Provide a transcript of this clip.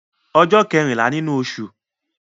Ọjọ́ kẹ́rìnlá nínú osù